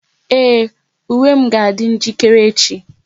Ee, uwe m ga adi njirikere echi